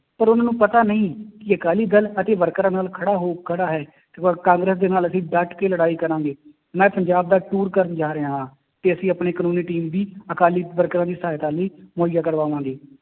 ਪਰ ਉਹਨਾਂ ਨੂੰ ਪਤਾ ਨਹੀਂ ਕਿ ਅਕਾਲੀ ਦਲ ਅਤੇ ਵਰਕਰਾਂ ਨਾਲ ਖੜਾ ਹੋ ਖੜਾ ਹੈ, ਤੇ ਪਰ ਕਾਂਗਰਸ ਦੇ ਨਾਲ ਅਸੀਂ ਡੱਟ ਕੇ ਲੜਾਈ ਕਰਾਂਗੇ, ਮੈਂ ਪੰਜਾਬ ਦਾ ਟੂਰ ਕਰਨ ਜਾ ਰਿਹਾ ਹਾਂ ਕਿ ਅਸੀਂ ਆਪਣੀ ਕਾਨੂੰਨੀ team ਵੀ ਅਕਾਲੀ ਵਰਕਰਾਂ ਦੀ ਸਹਾਇਤਾ ਲਈ ਮੁਹੱਈਆਂ ਕਰਾਵਾਂਗੇ।